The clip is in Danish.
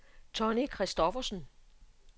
Tonni Christophersen